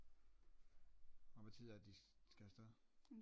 Og hvad er det de skal afsted?